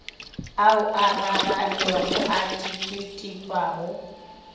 ao a raranego a tpwetpwago